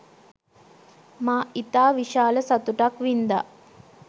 මා ඉතා විශාල සතුටක් වින්දා